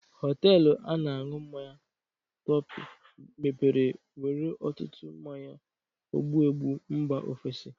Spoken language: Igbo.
Hoteelu a na-añụ mmanya Topi mepere nwere ọtụtụ mmanya ogbụgbụ mba ofesi.